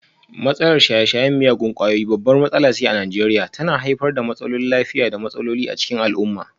Matsalar shaye-shayen miyagun kwayoyi babbar matsala ce a Najeriya, tana haifar da matsalolin lafiya da matsaloli a cikin al'umma.